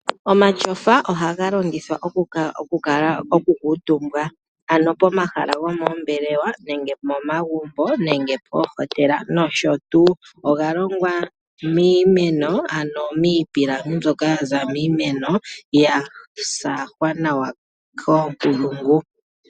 Omatyofa ohaga longithwa okukuutumbwa ano pomahala gomoombelewa nenge momagumbo nenge pomahala gomainyanyudho noshotuu. Oga longwa miimeno ano miipilangi mbyoka yaza miimeno , yasaahwa nawa koonkulungu.